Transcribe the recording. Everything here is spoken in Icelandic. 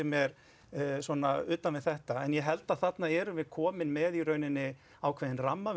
mér utan við þetta en ég held að þarna erum við komin með ákveðinn ramma